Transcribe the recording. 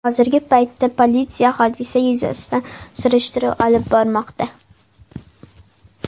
Hozirgi paytda politsiya hodisa yuzasidan surishtiruv olib bormoqda.